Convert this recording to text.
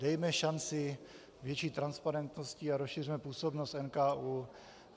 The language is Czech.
Dejme šanci větší transparentnosti a rozšiřme působnost NKÚ.